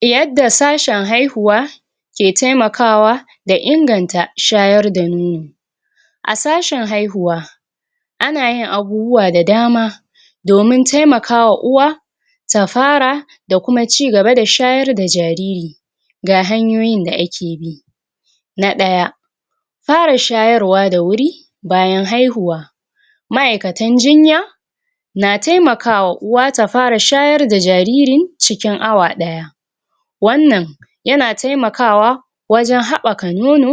Yadda sashen hahihuwa ke taimakawa, da inganta shayar da nono. A sashen haihuwa, ana yin abubuwa da dama, domin taimakawa uwa ta fara da kuma cigaba da shayar da jariri. Ga hanyoyin da ake bi: Na ɗaya, fara shayarwa da wuri bayan haihuwa, ma'aikatan jinya na taimakawa uwa ta fara shayar da jariri cikin awa ɗaya. Wannan na taimakawa wajan haɓɓaka nono,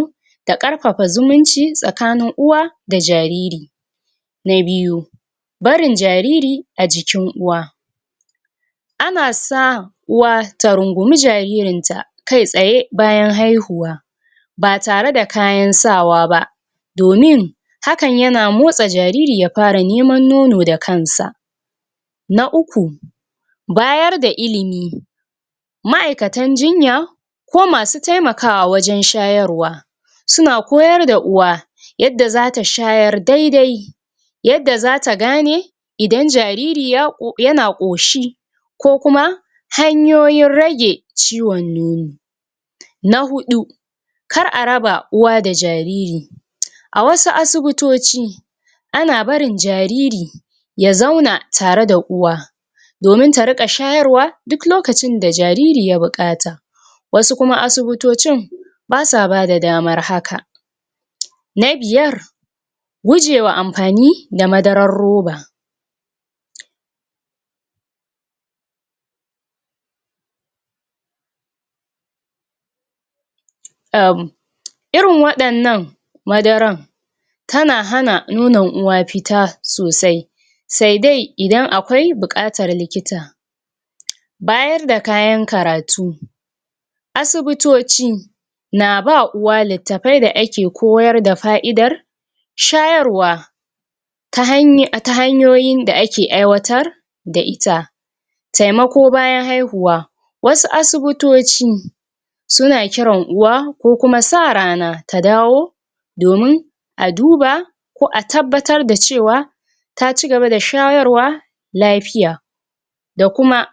da ƙarfafa zumunci tsakanin uwa da jariri. Na biyu, barin jariri a jikin uwa. Ana sa uwa ta rungumi jaririnta kai tsaye bayan haihuwa ba tare da kayan sawa ba, domin hakan yana motsa jariri ya fara neman nono da kan sa. Na uku, bayar da ilimi. Ma'aikatan jinya, ko masu taimakawa wajan shayarwa, suna koyar da uwa yadda zata shayar dai-dai, yadda zata gane idan jariri yana ƙoshi, ko kuma hanyoyin rage ciwon nono. Na huɗu, kar a raba uwa da jariri. A wasu asibutoci, ana barin jariri ya zauna tare da uwa, domin ta riƙa shayarwa duk lokacin da jariri ya buƙata, wasu kuma asibutocin ba sa bada damar haka. Na biyar, gujewa amfani da madarar roba. um Irin waɗannan madaran, tana hana nonon uwa fita sosai, sai dai idan akwai buƙatar likita. Bayar da kayan karatu. Asubutoci na ba uwa littafai da ake koyar da fa'idar shayarwa, ta hanyoyin da ake aiwatar da ita. Taimako bayan haihuwa. Wasu asubutoci suna kiran uwa, ko kuma sa rana, ta dawo domun a duba, ko a tabbatar da cewa ta cigaba da shayarwa lafiya. da kuma